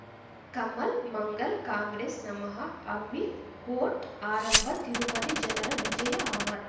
Kamal Mangal Congress ನಮಃ ಅಮಿಲ್ court ಆರಂಭ ತಿರುಪತಿ ಜನರ ವಿಜಯ ಅಮರ್